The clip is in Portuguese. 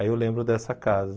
Aí eu lembro dessa casa.